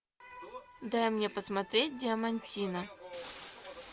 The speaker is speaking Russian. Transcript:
дай мне посмотреть диамантино